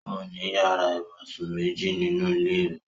Ó ní yàrá-ìbùsùn méjì nínú ilé rẹ̀.